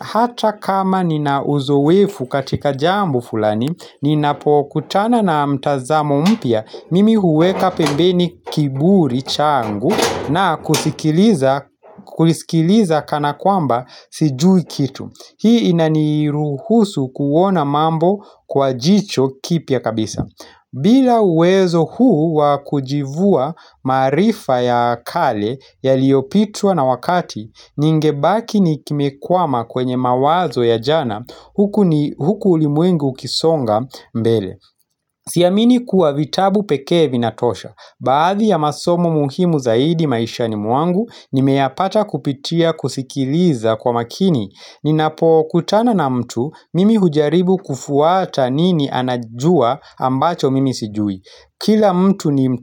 hata kama ninauzoefu katika jambo fulani, ninapokutana na mtazamo mpya, mimi huweka pembeni kiburi changu na kusikiliza kana kwamba sijui kitu. Hii inaniruhusu kuona mambo kwa jicho kipya kabisa bila uwezo huu wakujivua marifa ya kale yaliopitwa na wakati Ningebaki nimekwama kwenye mawazo ya jana huku ulimwengu ukisonga mbele Siamini kuwa vitabu pekee vinatosha Baadhi ya masomo muhimu zaidi maishani mwangu nimeyapata kupitia kusikiliza kwa makini Ninapokutana na mtu mimi hujaribu kufwata nini anajua ambacho mimi sijui Kila mtu ni.